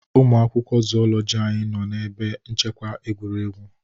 Ụmụ akwụkwọ Zoology anyị nọ na ebe nchekwa egwuregwu